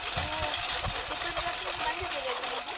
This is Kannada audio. ನೀವು ಪುತ್ತೂರು ಜಾತ್ರೆಗೆ ಬಂದಿದ್ದೀರ ಇದ್ರ ಮೊದ್ಲು.